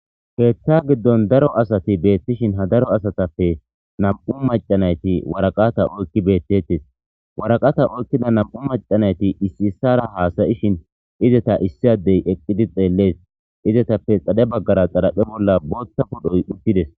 keeththa giddon daro asati beettishin ha daro asatappe nam'u macanayti waraqata oykki beettettes waraqata oykkida nam7u macanayti issi issara haasayishin izeta issi addey eqqidi xeellees izetappe xadhe baggara xalaphe bolla bootha podhoy uttides